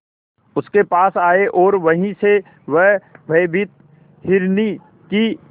उसके पास आए और वहीं से वह भयभीत हिरनी की